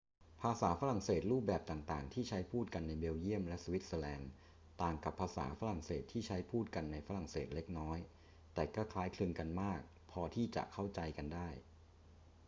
ภาษาฝรั่งเศสรูปแบบต่าง ๆ ที่ใช้พูดกันในเบลเยียมและสวิตเซอร์แลนด์ต่างกับภาษาฝรั่งเศสที่ใช้พูดกันในฝรั่งเศสเล็กน้อย แต่ก็คล้ายคลึงกันมากพอที่จะเข้าใจกันได้